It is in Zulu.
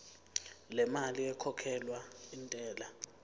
lemali ekhokhelwa intela